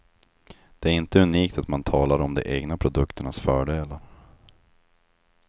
Det är inte unikt att man talar om de egna produkternas fördelar.